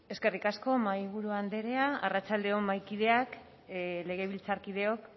eskerrik asko mahaiburu andrea arratsalde on mahaikideak legebiltzarkideok